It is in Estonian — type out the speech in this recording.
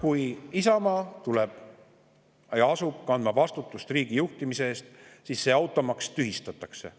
Kui Isamaa tuleb ja asub kandma vastutust riigi juhtimise eest, siis see automaks tühistatakse.